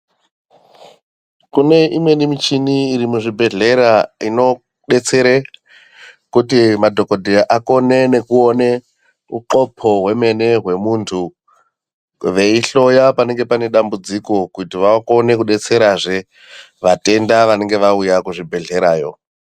Kune imweni michini irimuzvibhedhlera inodetsere kuti madhogodheya akone nekuone uxopo hwemene hwemuntu veihloya panenge pane dambudziko kuti vakone kudetsera zvee vatenda vanenge vauya kuzvi bhedhlerayo.